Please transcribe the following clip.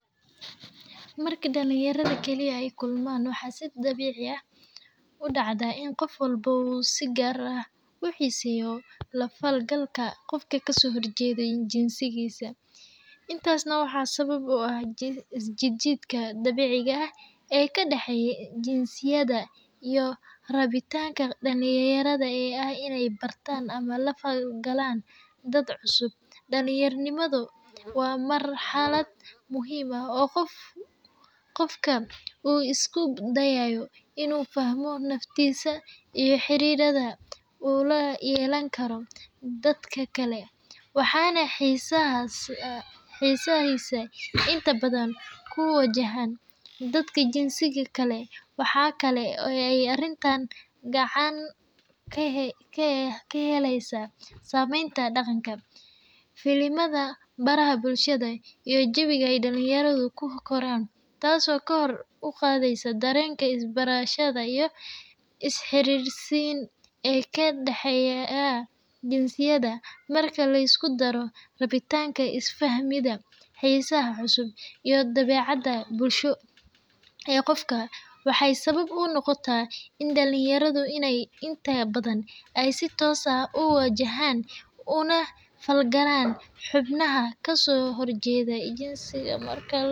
Marka dhalinyarada kaliya ay kulmaan, waxaa si dabiici ah u dhacda in qof walba uu si gaar ah u xiiseeyo la falgalka qof ka soo horjeeda jinsigiisa, arrintaasna waxaa sabab u ah isjiid jiidka dabiiciga ah ee ka dhexeeya jinsiyada iyo rabitaanka dhalinyarada ee ah in ay bartaan ama la falgalaan dad cusub. Dhalinyaronimada waa marxalad muhiim ah oo qofka uu isku dayayo in uu fahmo naftiisa iyo xiriirada uu la yeelan karo dadka kale, waxaana xiisahaasi inta badan ku wajahan dadka jinsiga kale. Waxaa kale oo ay arrintan gacan ka helaysaa saameynta dhaqanka, filimada, baraha bulshada, iyo jawiga ay dhalinyaradu ku koraan, taas oo kor u qaadda dareenka is-barasho iyo is-xiriirsiin ee ka dhexeeya jinsiyada. Marka la isku daro rabitaanka is-fahmid, xiisaha cusub, iyo dabeecadda bulsho ee qofka, waxay sabab u noqotaa in dhalinyaradu inta badan ay si toos ah u wajahaan una falgalaan xubnaha ka soo horjeeda jinsigooda marka.